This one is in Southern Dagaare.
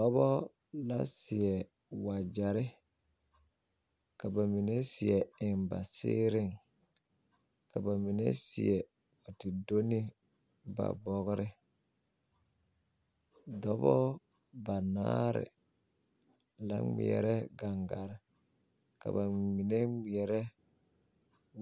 Dɔbɔ la seɛ wagyɛrre ka ba mine seɛ aŋ ba siiriŋ ka ba mine seɛ ti do ne ba bɔgre dɔbɔɔ banaare la ngmɛrɛ gaŋgaa ka ba mine ngmɛrɛ